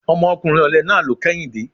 Ọmọkùnrin ọ̀lẹ náà ló kẹ́yìn dé.